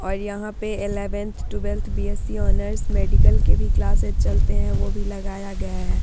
और यहाँ पे eleven twelfth BSc. Honours medical के भी क्लासेज चलते है वो भी लगाया गया है।